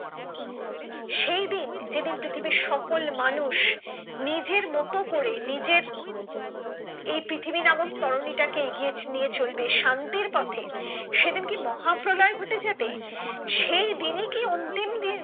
সেইদিন যেদিন পৃথিবীর সকল মানুষ নিজের মতো করে নিজের এই পৃথিবী নামক তরনী টাকে এগিয়ে নিয়ে চলবে শান্তির পথে সেইদিন কি মহাপ্রলয় ঘটে যাবে সেইদিন কি অন্তিম দিন